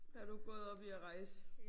Har du gået op i at rejse?